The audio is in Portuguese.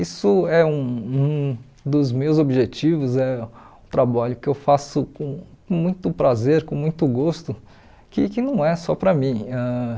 Isso é um dos meus objetivos, é trabalho que eu faço com com muito prazer, com muito gosto, que que não é só para mim ãh.